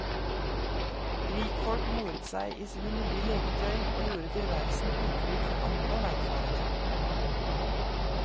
Rikfolk moret seg i sine nye leketøy, og gjorde tilværelsen utrygg for andre veifarende.